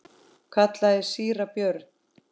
kallaði síra Björn.